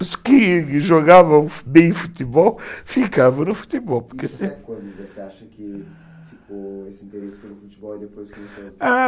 Os que jogavam bem futebol ficavam no futebol